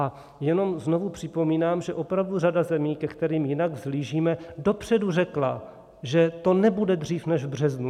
A jenom znovu připomínám, že opravdu řada zemí, ke kterým jinak vzhlížíme, dopředu řekla, že to nebude dřív než v březnu.